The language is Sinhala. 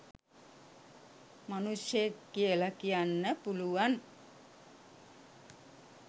මනුෂ්‍යයෙක් කියල කියන්න පුළුවන්